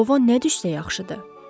Tilova nə düşsə yaxşıdır?